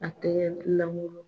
A tɛ